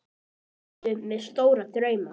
Ertu með stóra drauma?